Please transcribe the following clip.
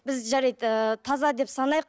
біз жарайды ыыы таза деп санайық